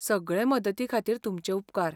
सगळे मदती खातीर तुमचे उपकार.